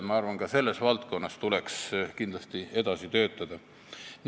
Ma arvan, et ka selles valdkonnas tuleks kindlasti edasi töötada.